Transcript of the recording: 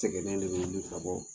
Sɛgɛnlen de bɛ wuli ka bɔ